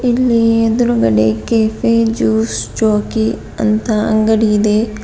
ಇಲ್ಲಿ ಎದ್ರುಗಡೆ cafe juice jockey ಅಂತ ಅಂಗಡಿ ಇದೆ.